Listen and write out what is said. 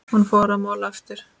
Hún fór að mála aftur.